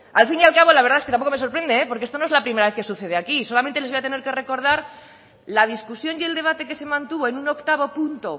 al fin y al cabo la verdad es que tampoco me sorprende porque esto no es la primera vez que sucede aquí solamente les voy a tener que recordar la discusión y el debate que se mantuvo en un octavo punto